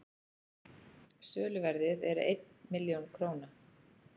söluverðið er einn milljón króna